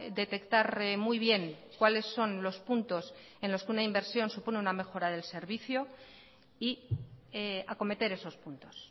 detectar muy bien cuáles son los puntos en los que una inversión supone una mejora del servicio y acometer esos puntos